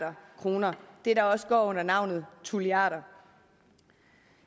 kroner det der også går under navnet tulliarder